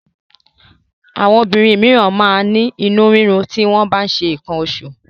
Àwọn obìnrin míràn máa ń ní inú rírun ti wọ́n bá ń ṣe nǹkan oṣù.